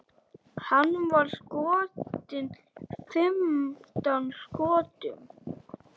Hann var skotinn fimmtán skotum.